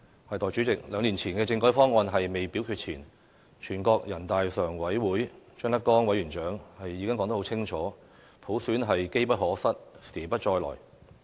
代理主席，兩年前的政改方案未表決前，人大常委會委員長張德江已說得很清楚，普選是機不可失，時不再來的。